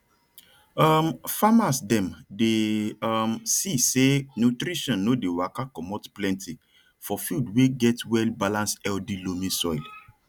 um farmas dem dey um see sey nutrisin no dey waka commot plenty for field wey get wellbalance healthy loamy soil